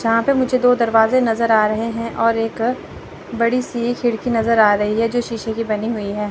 जहां पे मुझे दो दरवाजे नज़र आ रहे हैं और एक बड़ी सी खिड़की नज़र आ रही है। जो शीशे की बनी हुई हैं।